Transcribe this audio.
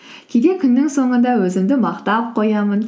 кейде күннің соңында өзімді мақтап қоямын